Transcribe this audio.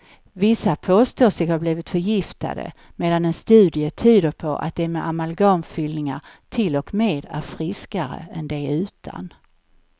Vissa påstår sig ha blivit förgiftade medan en studie tyder på att de med amalgamfyllningar till och med är friskare än de utan.